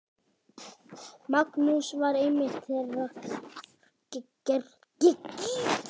Magnús var einmitt þeirrar gerðar.